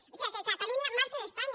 o sigui que catalunya marxe d’espanya